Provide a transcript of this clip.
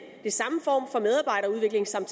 samme